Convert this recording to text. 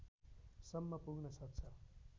सम्म पुग्न सक्छ